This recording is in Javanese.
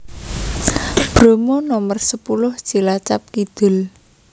Bromo Nomer sepuluh Cilacap Kidul